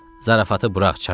Zarafatı burax, Çarlz.